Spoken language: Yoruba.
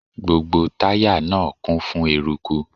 Gbogbo táyà náà kún fún eruku.